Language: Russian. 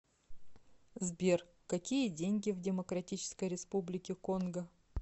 сбер какие деньги в демократической республике конго